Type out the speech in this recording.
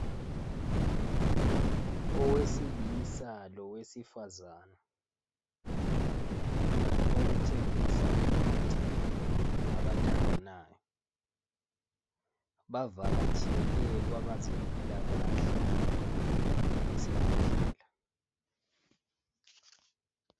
Owesilisa lowesifazane okutshengisa ukuthi ngabathandanayo , bavakatshele kwabazempilakahle esibhedlela